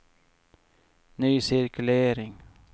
ny cirkulering